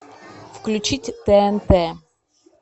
включить тнт